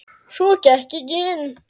Svo gekk ég inn.